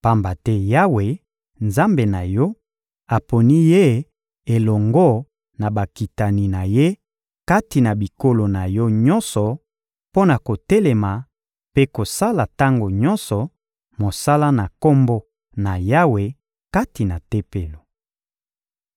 pamba te Yawe, Nzambe na yo, aponi ye elongo na bakitani na ye kati na bikolo na yo nyonso mpo na kotelema mpe kosala tango nyonso mosala na Kombo na Yawe kati na Tempelo.